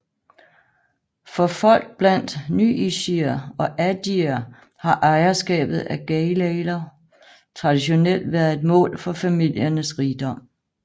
For folk blandt nyishier og adier har ejerskabet af gayaler traditionelt været et mål for familiernes rigdom